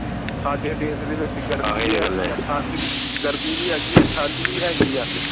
ਸਾਡੇ ਦੇਸ਼ ਦੇ ਵਿੱਚ ਗਰਮੀ ਭੀ ਹਗੀ ਹੈ ਠੰਡ ਭੀ ਗਰਮੀ ਭੀ ਹਗੀ ਹੈ ਠੰਡ ਭੀ ਹਗੀ ਹੈ